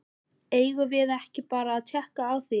Eigum við ekki bara að tékka á því?